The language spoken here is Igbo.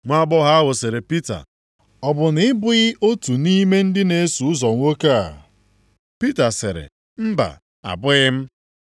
Nwaagbọghọ ahụ sịrị Pita, “Ọ bụ na ị bụghị otu nʼime ndị na-eso ụzọ nwoke a?” Pita sịrị, “Mba! Abụghị m.”